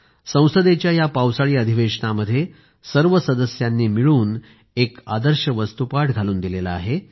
संसदेच्या या पावसाळी अधिवेशनामध्ये सर्व सदस्यांनी मिळून एक आदर्श वस्तूपाठ घालून दिला आहे